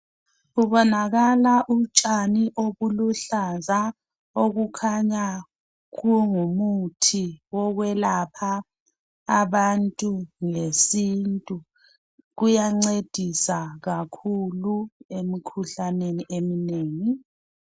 Kubonakala utshwani obuhlaza okukhanya kungumuthi wokwelapha abantu ngesintu kuyancedisa kakhulu imikhuhlane eminengi.